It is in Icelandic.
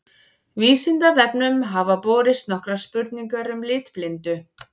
Vísindavefnum hafa borist nokkrar spurningar um litblindu.